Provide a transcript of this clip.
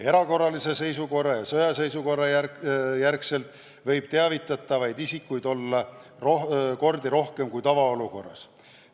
Erakorralise seisukorra ja sõjaseisukorra järgselt võib teavitatavaid isikuid olla mitu korda rohkem kui tavaolukorras.